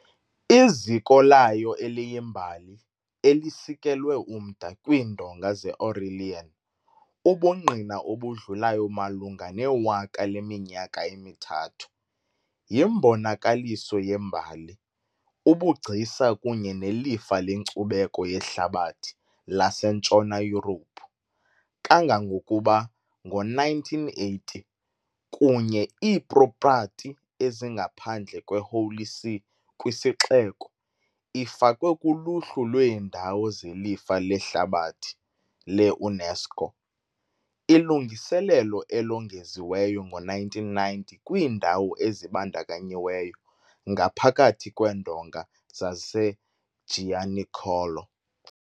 Iziko layo eliyimbali, elisikelwe umda kwiindonga ze- Aurelian, ubungqina obudlulayo malunga newaka leminyaka emithathu, yimbonakaliso yembali, ubugcisa kunye nelifa lenkcubeko yehlabathi laseNtshona Yurophu, kangangokuba, ngo-1980, kunye iipropati ezingaphandle kwe- Holy See kwisixeko, ifakwe kuluhlu lweendawo zelifa lehlabathi le -UNESCO, ilungiselelo elongeziweyo ngo-1990 kwiindawo ezibandakanyiweyo ngaphakathi kweendonga zaseGianicolo .